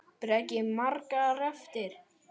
Breki: Margar eftir?